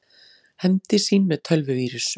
Hefndi sín með tölvuvírus